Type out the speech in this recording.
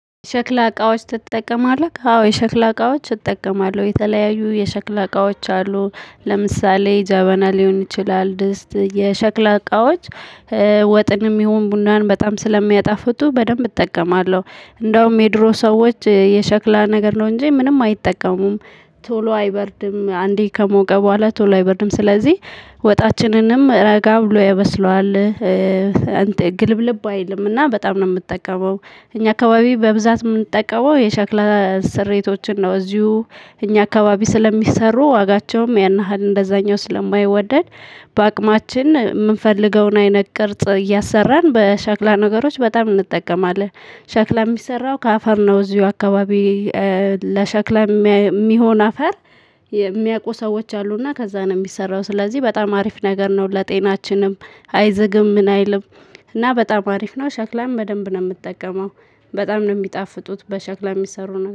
ሸክላ እቃዎች ትጠቀማለህ? አዎ የሸክላ እቃዎች እጠቀማለሁ የተለያዩ የሸክላ እቃዎች አሉ ለምሳሌ ጃበና ሊሆን ይችላል ድስት የሸክላ እቃዎች ወጥንም ይሁን ቡናን በጣም ስለሚያጣፍጡ በደንብ እጠቀማለሁ። እንደውም የድሮ ሰዎች የሸክላ ነገር ነው እንጂ ምንም አይጠቀሙም። ቶሎ አይበርድም አንዴ ከሞቀ በኋላ ቶሎ አይበርድም ስለዚህ ወጣችንንም ረጋ ብሎ ያበስለዋል እንተ ግልብልብ አይልምና በጣም ነው የምትጠቀመው። እኛ አካባቢ በብዛት የምንጠቀመው የሸክላ ስሪቶችን ነው እዚሁ እኛ አካባቢ ስለሚሰሩ ዋጋቸውም ያን ያህል እንደዛኛው ስለማይወደድ በአቅማችን የምንፈልገውን አይነት ቅርጽ እያሰራን በሸክላ ነገሮች በጣም እንጠቀማለን። ሸክላ የሚሰራው ከአፈር ነው እዚሁ አካባቢ። ለሻክላ የሚሆን አፈር የሚያውቁ ሰዎች አሉና ከዛ ነው የሚሰራው ስለዚህ በጣም አሪፍ ነገር ነው። ለጤናችንም አይዘግም ምን አይልም። እና በጣም አሪፍ ነው ሸክላም በደንብ ነው የምጠቀመው። በጣም ነው የሚጣፍጡት በሸክላ የሚሰሩ